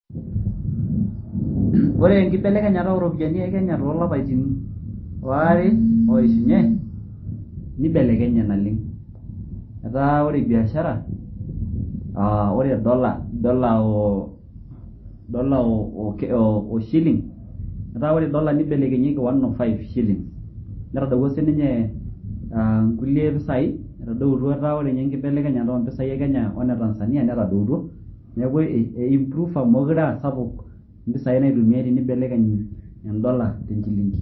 Ore enkibelekenyara ooropiyiani eKenya too lapaitin aare tenakata ooishunye neibelekenye naleng'. Etaa ore ebiashara etaa ore ee dola oo shilink etaa ore dola neibelekenyie ki one, zero, five shillings netadowuo sininye aa kulie pisai etadowutuo etaa ore ninye enkibelekenyata oo mpisai eKenya we neTanzania netadoutuo neaku eimprufa meekure aa kumok impisai naitumiai tenibelekeny edola tenchilingi.